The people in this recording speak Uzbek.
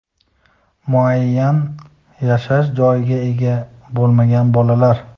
muayyan yashash joyiga ega bo‘lmagan bolalar;.